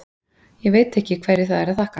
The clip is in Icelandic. Ég veit ekki hverju það er að þakka.